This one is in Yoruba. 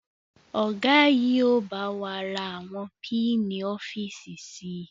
Ọ̀gá yìí ó bá wà ra àwọn piini-ofiíísì síí